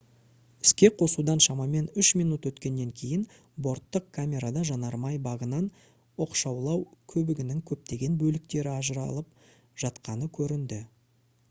іске қосудан шамаман 3 минут өткеннен кейін борттық камерада жанармай багынан оқшаулау көбігінің көптеген бөліктері ажыралып жатқаны көрінді